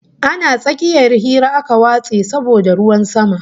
Ana tsakiyar hira aka watse saboda ruwan sama